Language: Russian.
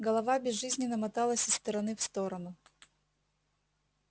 голова безжизненно моталась из стороны в сторону